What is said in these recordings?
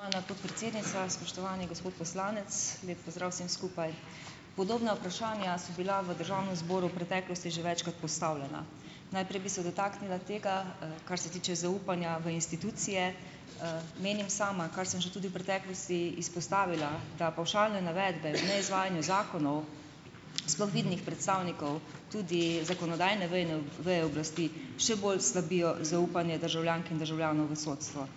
Spoštovana podpredsednica, spoštovani gospod poslanec, lep pozdrav vsem skupaj. Podobna vprašanja so bila v državnem zboru v preteklosti že večkrat postavljena. Najprej bi se dotaknila tega, kar se tiče zaupanja v institucije. Menim sama, kar sem že tudi v preteklosti izpostavila, da pavšalne navedbe o neizvajanju zakonov, sploh vidnih predstavnikov tudi zakonodajne vejne, veje oblasti, še bolj slabijo zaupanje državljank in državljanov v sodstvo.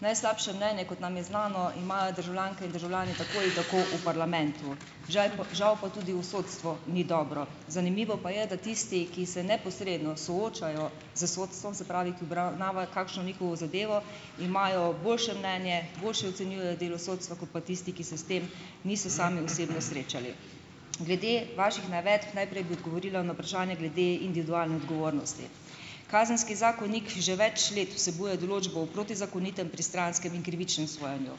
Najslabše mnenje, kot nam je znano, imajo državljanke in državljani tako ali tako v parlamentu. Žal, žal pa tudi v sodstvu ni dobro. Zanimivo pa je, da tisti, ki se neposredno soočajo s sodstvom - se pravi, ki obravnavajo kakšno njihovo zadevo - imajo boljše mnenje, boljše ocenjujejo delo sodstva kot pa tisti, ki se s tem niso sami osebno srečali. Glede vaših navedb. Najprej bi odgovorila na vprašanje glede individualne odgovornosti. Kazenski zakonik že več let vsebuje določbo o protizakonitem, pristranskem in krivičnem sojenju.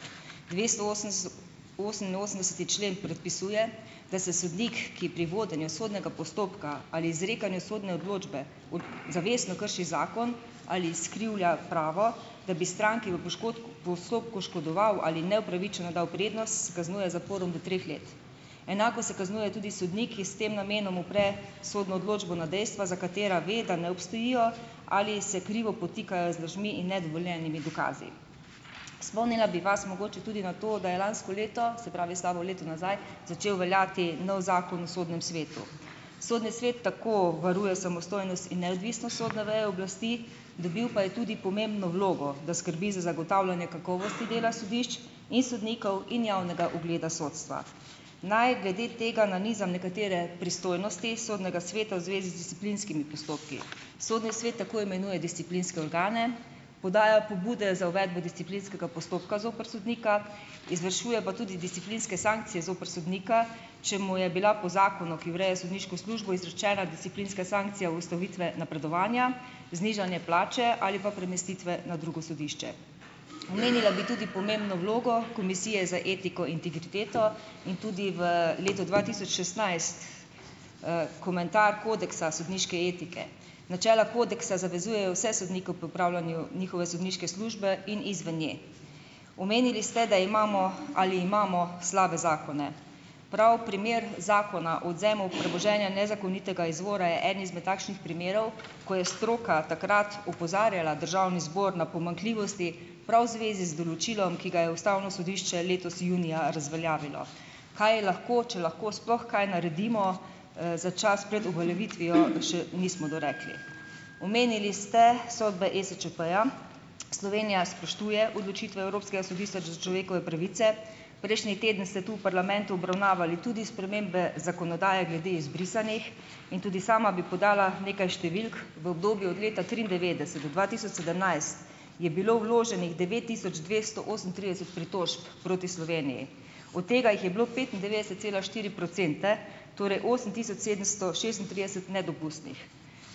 Dvesto oseminosemdeseti člen predpisuje, da se sodnik, ki pri vodenju sodnega postopka ali izrekanju sodne odločbe zavestno krši zakon ali izkrivlja pravo, da bi stranki v postopku škodoval ali ji neupravičeno dal prednost, se kaznuje z zaporom do treh let. Enako se kaznuje tudi sodnik, s tem namenom opre sodno odločbo na dejstva, za katera ve, da ne obstojijo ali se krivo podtikajo z lažmi in nedovoljenimi dokazi. Spomnila bi vas mogoče tudi na to, da je lansko leto - se pravi, slabo leto nazaj - začel veljati novi zakon v sodnem svetu. Sodni svet tako varuje samostojnost in neodvisnost sodne veje oblasti, dobil pa je tudi pomembno vlogo, da skrbi za zagotavljanje kakovosti dela sodišč in sodnikov in javnega ugleda sodstva. Naj glede tega nanizam nekatere pristojnosti sodnega sveta v zvezi z disciplinskimi postopki. Sodni svet tako imenuje disciplinske organe, podaja pobude za uvedbo disciplinskega postopka zoper sodnika, izvršuje pa tudi disciplinske sankcije zoper sodnika, če mu je bila po zakonu, ki ureja sodniško službo, izrečena disciplinska sankcija ustavitve napredovanja, znižanje plače ali pa premestitve na drugo sodišče. Omenila bi tudi pomembno vlogo komisije za etiko integriteto in tudi v letu dva tisoč šestnajst, komentar kodeksa sodniške etike. Načela kodeksa zavezujejo vse sodnike ob opravljanju njihove sodniške službe in izven nje. Omenili ste, da imamo - ali imamo slabe zakone. Prav primer zakona odvzemu premoženja nezakonitega izvora je en izmed takšnim primerov, ko je stroka takrat opozarjala državni zbor na pomanjkljivosti prav v zvezi z določilom, ki ga je ustavno sodišče letos junija razveljavilo. Kaj je lahko, če lahko sploh kaj naredimo, za čas pred uveljavitvijo, še nismo dorekli. Omenili ste sodbe ESČP-ja. Slovenija spoštuje odločitve Evropskega sodišča za človekove pravice. Prejšnji teden ste tu v parlamentu obravnavali tudi spremembe zakonodaje glede izbrisanih in tudi sama bi podala nekaj številk, v obdobju od leta triindevetdeset-dva tisoč sedemnajst je bilo vloženih devet tisoč dvesto osemintrideset pritožb proti Sloveniji. Od tega jih je bilo petindevetdeset cela štiri procente, torej osem tisoč sedemsto šestintrideset nedopustnih.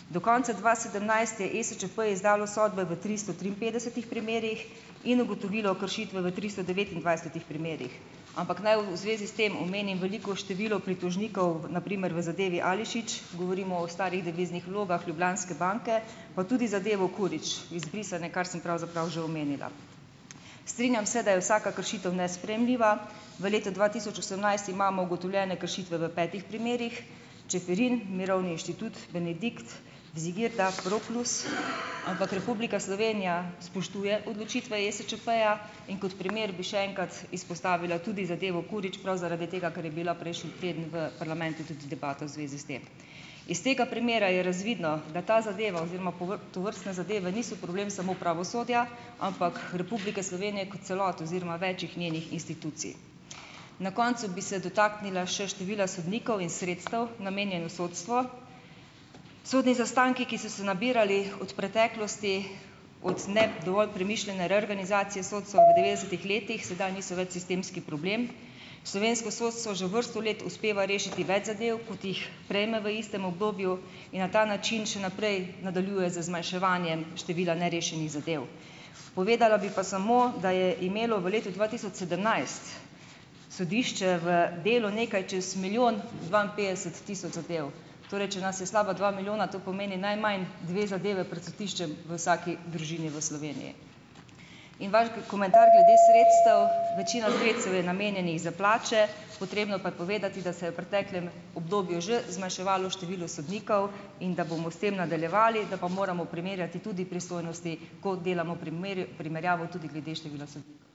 Do konca dva sedemnajst je ESČP izdalo sodbe v tristo triinpetdesetih primerih in ugotovilo kršitve v tristo devetindvajsetih primerih. Ampak naj v zvezi s tem omenim veliko število pritožnikov, na primer v zadevi Ališić, govorimo o starih deviznih vlogah Ljubljanske banke, pa tudi zadevo Kurić, izbrisane, kar sem pravzaprav že omenila. Strinjam se, da je vsaka kršitev nesprejemljiva, v letu dva tisoč osemnajst imamo ugotovljene kršitve v petih primerih: Čeferin, Mirovni inštitut, Benedikt, Vizigirda, Pro Plus, ampak Republika Slovenija spoštuje odločitve ESČP-ja, in kot primer bi še enkrat izpostavila tudi zadevo Kurić, prav zaradi tega, ker je bila prejšnji teden v parlamentu tudi debata v zvezi s tem. Iz tega primera je razvidno, da ta zadeva oziroma povr tovrstne zadeve niso problem samo pravosodja, ampak Republike Slovenije kot celote oziroma večih njenih institucij. Na koncu bi se dotaknila še števila sodnikov in sredstev, namenjenih sodstvu. Sodni zaostanki, ki so se nabirali od preteklosti, od ne dovolj premišljene reorganizacije sodstva v devetdesetih letih, sedaj niso več sistemski problem. Slovensko sodstvo že vrsto let uspeva rešiti več zadev, kot jih prejme v istem obdobju, in na ta način še naprej nadaljuje z zmanjševanjem števila nerešenih zadev. Povedala bi pa samo, da je imelo v letu dva tisoč sedemnajst sodišče v delu nekaj čez milijon dvainpetdeset tisoč zadev. Torej, če nas je slaba dva milijona, to pomeni najmanj dve zadevi pred sodiščem v vsaki družini v Sloveniji. In vaš komentar glede sredstev. Večina sredstev je namenjenih za plače, potrebno pa je povedati, da se je v preteklem obdobju že zmanjševalo število sodnikov in da bomo s tem nadaljevali, da pa moramo primerjati tudi pristojnosti, ko delamo primerjal, primerjavo tudi glede števila sodnikov.